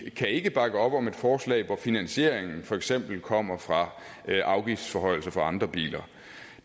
kan ikke bakke op om et forslag hvor finansieringen for eksempel kommer fra afgiftsforhøjelser for andre biler